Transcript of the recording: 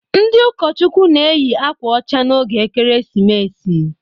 Ndị ụkọchukwu na-eyị akwa ọcha n'oge Ekeresimesi.